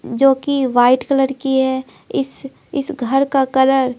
जो कि white colour की है इस इस घर का कलर--